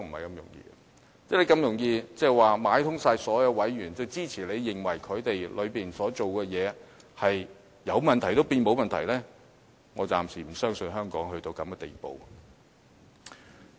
如果這麼容易，表示你可買通所有委員，支持你的看法，使有問題的內部工作也變成沒有問題，但我暫時不相信香港會淪落至此地步。